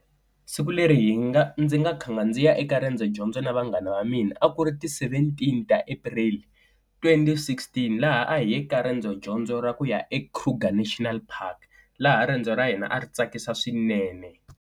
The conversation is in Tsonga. Siku leri hi nga, ndzi nga khanga ndzi ya eka riendzo dyondzo na vanghana va mina a ku ri ti seventeen ta April twenty sixteen laha a hi ya eka riendzo dyondzo ra ku ya eKruger National Park laha riendzo ra hina a ri tsakisa swinene.